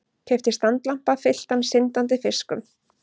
Keypti standlampa fylltan syndandi fiskum.